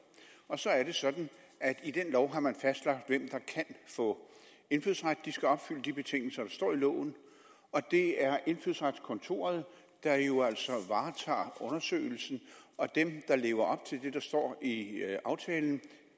og så er det sådan at i den lov har man fastlagt hvem der kan få indfødsret de skal opfylde de betingelser der står i loven og det er indfødsretskontoret der jo altså varetager undersøgelsen og dem der lever op til det der står i aftalen